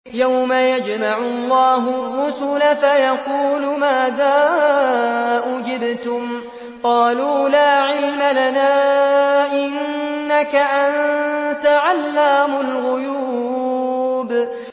۞ يَوْمَ يَجْمَعُ اللَّهُ الرُّسُلَ فَيَقُولُ مَاذَا أُجِبْتُمْ ۖ قَالُوا لَا عِلْمَ لَنَا ۖ إِنَّكَ أَنتَ عَلَّامُ الْغُيُوبِ